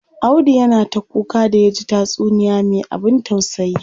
Audu yana ta kuka da yaji taysuniya me abin tausayi.